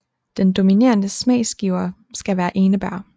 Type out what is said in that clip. Den dominerende smagsgiver skal være enebær